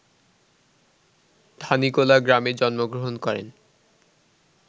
ধানীখোলা গ্রামে জন্মগ্রহণ করেন